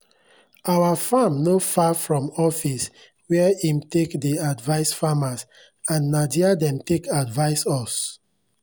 our farm no far from office where em take dey advice farmers and nah there dem take advise us